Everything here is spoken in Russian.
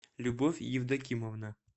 любовь евдокимовна